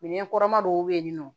Minɛn kɔrɔma dɔw bɛ yen nɔ